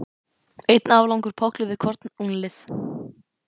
Einn aflangur pollur við hvorn úlnlið.